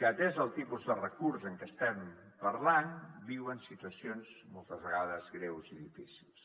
que atès el tipus de recurs de què estem parlant viuen situacions moltes vegades greus i difícils